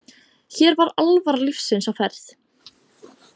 Hér var alvara lífsins á ferð.